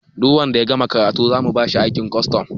Duk wanda ya gama karatu zamu bashi aikin kwastom